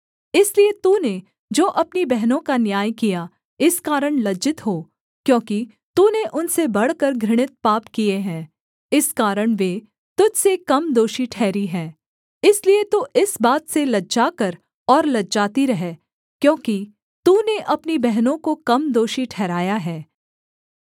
इसलिए तूने जो अपनी बहनों का न्याय किया इस कारण लज्जित हो क्योंकि तूने उनसे बढ़कर घृणित पाप किए हैं इस कारण वे तुझ से कम दोषी ठहरी हैं इसलिए तू इस बात से लज्जा कर और लजाती रह क्योंकि तूने अपनी बहनों को कम दोषी ठहराया है